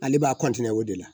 Ale b'a o de la